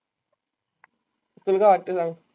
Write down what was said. तुला काय वाटते सांग.